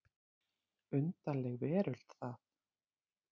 Undarleg veröld það.